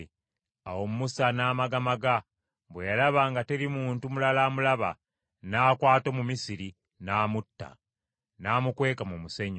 Awo Musa n’amagamaga, bwe yalaba nga teri muntu mulala amulaba, n’akwata Omumisiri n’amutta, n’amukweka mu musenyu.